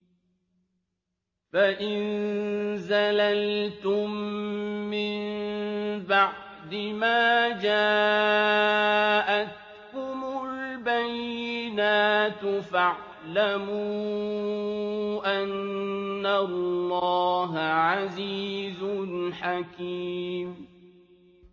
فَإِن زَلَلْتُم مِّن بَعْدِ مَا جَاءَتْكُمُ الْبَيِّنَاتُ فَاعْلَمُوا أَنَّ اللَّهَ عَزِيزٌ حَكِيمٌ